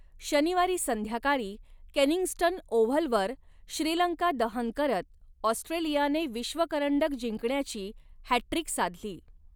शनिवारी संध्याकाळी केनिंग्स्टन ओव्हलवर श्रीलंकादहन करत ऑस्ट्रेलियाने विश्वकरंडक जिंकण्याची हॅट्ट्रिक साधली.